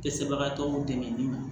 Dɛsɛbagatɔw dɛmɛ ni